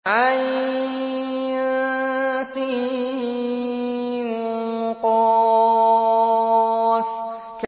عسق